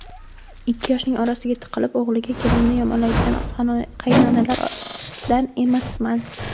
Ikki yoshning orasiga tiqilib, o‘g‘liga kelinini yomonlaydigan qaynonalardan emasman.